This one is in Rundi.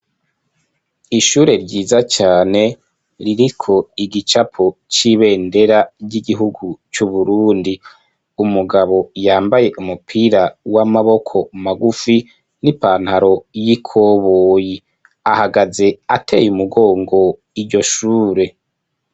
Ishure ryiza cane ririko igicapo c'ibendera ry'igihugu cy'uburundi, umugabo yambaye umupira w'amaboko magufi n'ipantaro y'ikoboyi, ahagaze ateye umugongo iryo shure.